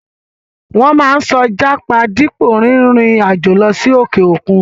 Wọ́n máa ń sọ jápa dípò rin ìrìn àjò lọ sí òkè òkun.